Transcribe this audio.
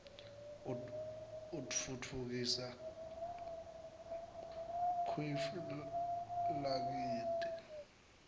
utfutfkisa kuif lakitdi